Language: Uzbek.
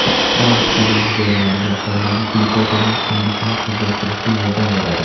Xrom tana hujayralariga qondagi glyukozaning singishini tezlashtirishga yordam beradi.